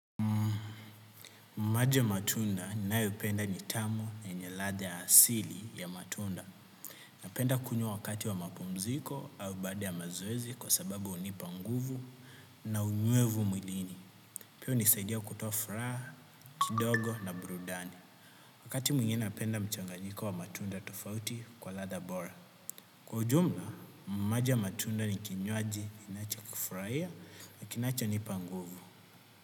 Maji ya matunda ninayopenda ni tamu na yenye ladha ya asili ya matunda. Napenda kunywa wakati wa mapumziko au baada ya mazoezi kwa sababu hunipa nguvu na unywevu mwilini. Pia hunisaidia kutoa furaha, kidogo na burudani. Wakati mwingine napenda mchanganiko wa matunda tofauti kwa ladha bora. Kwa ujumla, maji ya matunda ni kinywaji ninachokifurahia na kinachonipa nguvu.